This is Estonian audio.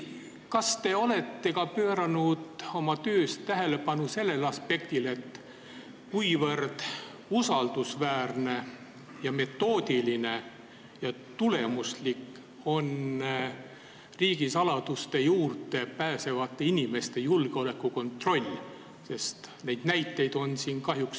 Kas te olete ka pööranud oma töös tähelepanu sellele aspektile, kui usaldusväärne, metoodiline ja tulemuslik on riigisaladuste juurde pääsevate inimeste julgeolekukontroll?